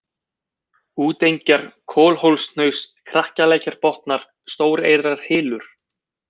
Útengjar, Kolhólshnaus, Krakalækjarbotnar, Stóreyrarhylur